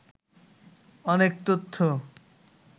অনেক তথ্য